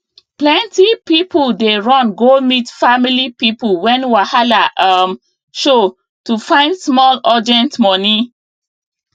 plenty people dey run go meet family people when wahala um show to find small urgent money